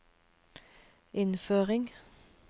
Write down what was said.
innføring